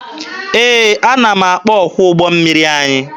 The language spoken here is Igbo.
Ee, ana m akpọ ọkwọ ụgbọ mmiri anyị.